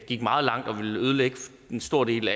gik meget langt og ville ødelægge en stor del